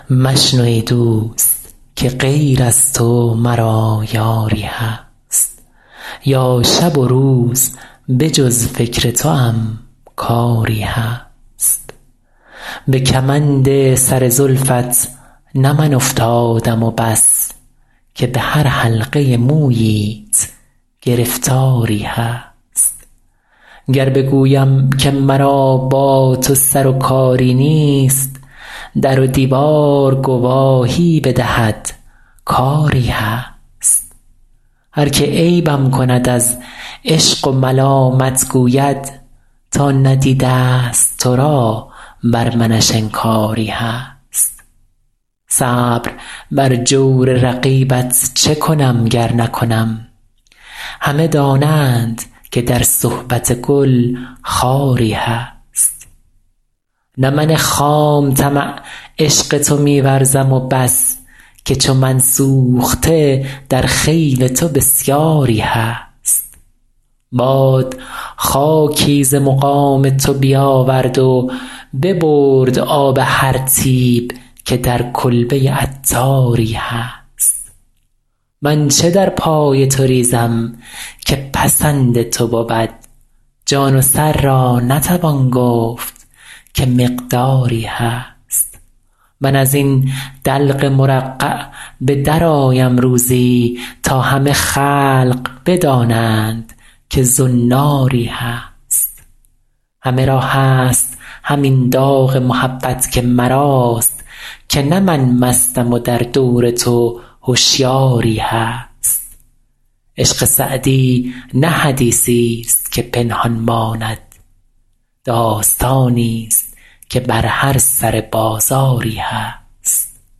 مشنو ای دوست که غیر از تو مرا یاری هست یا شب و روز به جز فکر توام کاری هست به کمند سر زلفت نه من افتادم و بس که به هر حلقه موییت گرفتاری هست گر بگویم که مرا با تو سر و کاری نیست در و دیوار گواهی بدهد کآری هست هر که عیبم کند از عشق و ملامت گوید تا ندیده است تو را بر منش انکاری هست صبر بر جور رقیبت چه کنم گر نکنم همه دانند که در صحبت گل خاری هست نه من خام طمع عشق تو می ورزم و بس که چو من سوخته در خیل تو بسیاری هست باد خاکی ز مقام تو بیاورد و ببرد آب هر طیب که در کلبه عطاری هست من چه در پای تو ریزم که پسند تو بود جان و سر را نتوان گفت که مقداری هست من از این دلق مرقع به درآیم روزی تا همه خلق بدانند که زناری هست همه را هست همین داغ محبت که مراست که نه مستم من و در دور تو هشیاری هست عشق سعدی نه حدیثی است که پنهان ماند داستانی است که بر هر سر بازاری هست